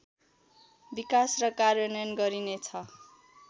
विकास र कार्यान्वयन गरिनेछ